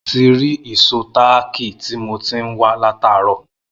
Mo ti rí ìsó táákì tí mo ti ń wa lataro